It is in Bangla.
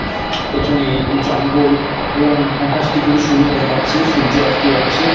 পিছনে এ জঙ্গল এবং আকাশটি খুবই সুন্দর দেখাচ্ছে সূয্য অস্ত যাচ্ছে ।